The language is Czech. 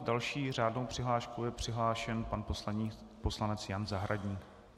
S další řádnou přihláškou je přihlášen pan poslanec Jan Zahradník.